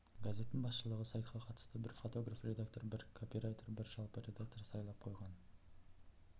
газеттің басшылығы сайтқа қатысты бір фотограф редактор бір копирайтер бір жалпы редактор сайлап қойған